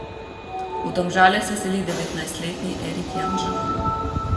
V Domžale se seli devetnajstletni Erik Janža.